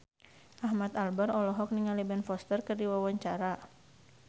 Ahmad Albar olohok ningali Ben Foster keur diwawancara